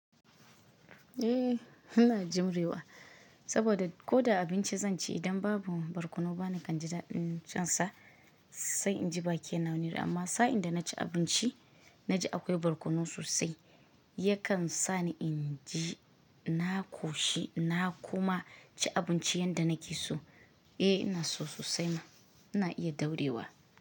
Eh, ina jimrewa saboda ko da abinci zan ci, idan babu barkono bana kan ji daɗin cin sa, sai in ji baki na wani iri. Amma sa'in da na ci abinci na ji akwai barkono sosai, yakan sa ni inji na ƙoshi na kuma ci abinci yanda nake so. Eh ina so sosai ma ina iya daurewa.